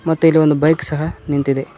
ಮತ್ತೆ ಇಲ್ಲಿ ಒಂದು ಬೈಕ್ ಸಹ ನಿಂತಿದೆ.